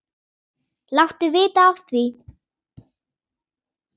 Láttu vita af því.